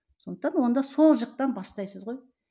сондықтан онда сол жақтан бастайсыз ғой